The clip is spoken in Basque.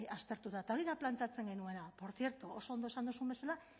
aztertuta eta hori da planteatzen genuena portzierto oso ondo esan duzun bezala